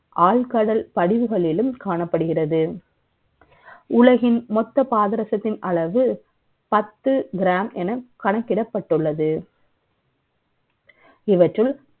ஆழ்கடல் பதிவுகளிலும் காணப்படுகிறது உலகில் மொத்த பாதரசத்தின் அளவு பத்து கிராம் என கணக்கிடப்பட்டுள்ளது இவற்றில்